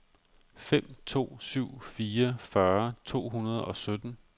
fem to syv fire fyrre to hundrede og sytten